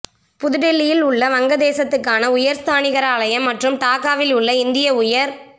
புதுடில்லியில் உள்ள வங்கதேசத்துக்கான உயர் ஸ்தானிகராலயம் மற்றும் டாக்காவில் உள்ள இந்திய உயர்